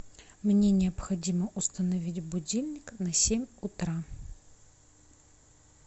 мне необходимо установить будильник на семь утра